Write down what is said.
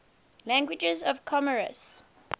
languages of comoros